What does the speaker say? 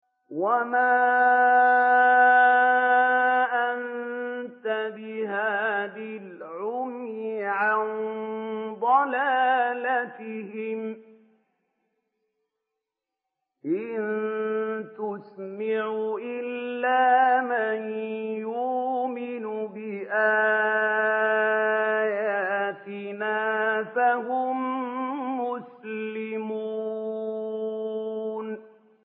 وَمَا أَنتَ بِهَادِي الْعُمْيِ عَن ضَلَالَتِهِمْ ۖ إِن تُسْمِعُ إِلَّا مَن يُؤْمِنُ بِآيَاتِنَا فَهُم مُّسْلِمُونَ